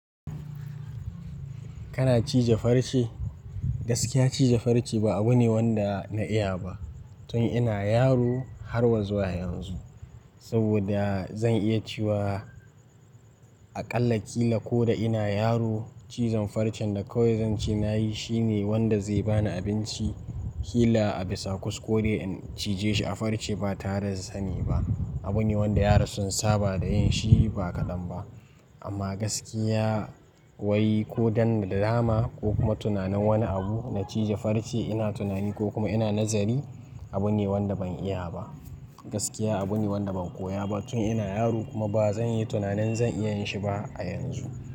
Kana cije farce? Gaskiya cije farce ba abu ne wanda na iya ba tun ina yaro har zuwa yanzu. Saboda zan iya cewa a ƙalla kila ko da ina yaro cizon farcen da kawai zance nayi shine wanda zai bani abinci. Kila a bisa kuskure in cije shi a farce ba tare da sani ba. Abu ne wanda ya rasu saba da yin shi ba kaɗan ba. Amma gaskiya wai ko don drama ko kuma tunanin wani abu na cije farce ina tunani ko kuma ina nazari abu ne wanda ban iya ba. Gaskiya abu ne wanda ban koya ba tun ina yaro kuma ba zan yi tunanin zan iya yin shi ba a yanzu.